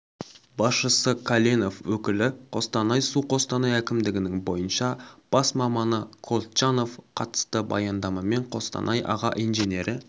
басшысы каленов өкілі қостанай-су қостанай әкімдігінің бойынша бас маманы колчанов қатысты баяндамамен қостанай аға инженері